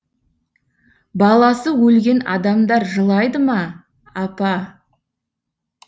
баласы өлген адамдар жылайды ма апа